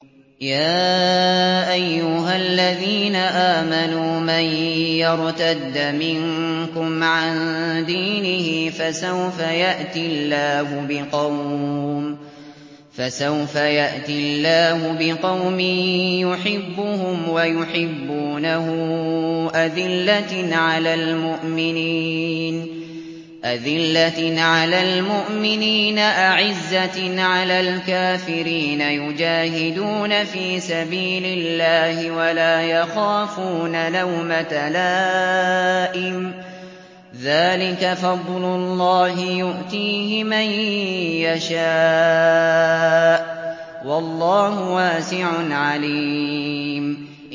يَا أَيُّهَا الَّذِينَ آمَنُوا مَن يَرْتَدَّ مِنكُمْ عَن دِينِهِ فَسَوْفَ يَأْتِي اللَّهُ بِقَوْمٍ يُحِبُّهُمْ وَيُحِبُّونَهُ أَذِلَّةٍ عَلَى الْمُؤْمِنِينَ أَعِزَّةٍ عَلَى الْكَافِرِينَ يُجَاهِدُونَ فِي سَبِيلِ اللَّهِ وَلَا يَخَافُونَ لَوْمَةَ لَائِمٍ ۚ ذَٰلِكَ فَضْلُ اللَّهِ يُؤْتِيهِ مَن يَشَاءُ ۚ وَاللَّهُ وَاسِعٌ عَلِيمٌ